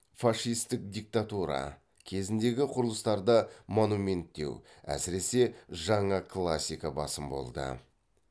фашистік диктатура кезіндегі құрылыстарда монументтеу әсіресе жаңа классика басым болды